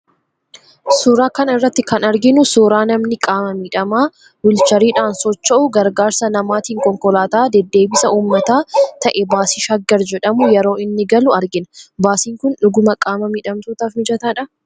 Suuraa kana irratti kan arginu suuraa namni qaama miidhamaa wiilcheriidhaan socho'u gargaarsa namaatiin konkolaataa deddeebisa uummataa ta'e baasii 'Shaggar' jedhamu yeroo inni galu argina. Baasiin kun dhuguma qaama miidhamtootaaf mijataadhaa?